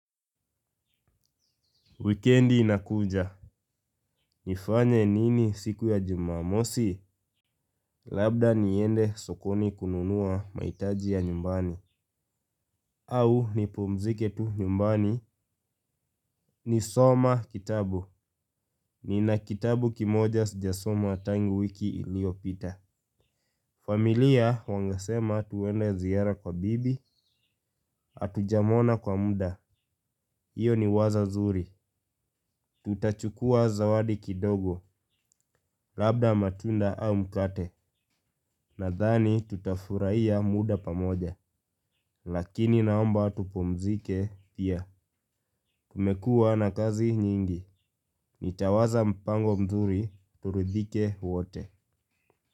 Wikendi inakuja, nifanye nini siku ya jumamosi? Labda niende sokoni kununua mahitaji ya nyumbani, au nipumzike tu nyumbani nisome kitabu. Nina kitabu kimoja sijasoma tangu wiki iliopita. Familia wanasema twende ziara kwa bibi, hatujamuona kwa muda, hio ni wazo zuri. Tutachukuwa zawadi kidogo, labda matunda au mkate, nadhani tutafurahia muda pamoja. Lakini naomba tupumzike pia, kumekuwa na kazi nyingi, nitawaza mpango mzuri, turidhike wote.